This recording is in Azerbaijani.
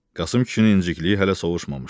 Qasım kişinin incikliyi hələ sovuşmamışdı.